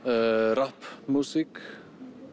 rapp músík